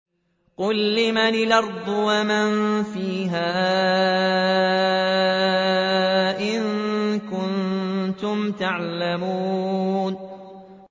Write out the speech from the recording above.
قُل لِّمَنِ الْأَرْضُ وَمَن فِيهَا إِن كُنتُمْ تَعْلَمُونَ